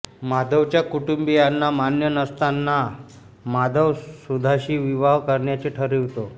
माधवच्या कुटुंबियांना मान्य नसताना माधव सुधाशी विवाह करण्याचे ठरवितो